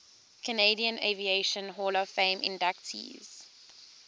canadian aviation hall of fame inductees